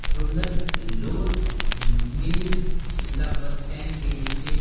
roller flour mills शिमलाबस stand के नीचे--